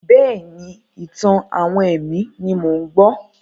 Bẹ́ẹ̀ni, ìtàn-àwọn ẹ̀mí ni mò ń gbọ́.